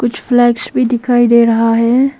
कुछ फ्लेक्स भी दिखाई दे रहा है।